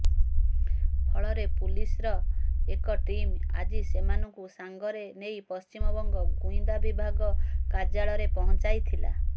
ଫଳରେ ପୁଲିସ୍ର ଏକ ଟିମ୍ ଆଜି ସେମାନଙ୍କୁ ସାଙ୍ଗରେ ନେଇ ପଶ୍ଚିମବଙ୍ଗ ଗୁଇନ୍ଦା ବିଭାଗ କାର୍ଯ୍ୟାଳୟରେ ପହଞ୍ଚାଇଥିଲା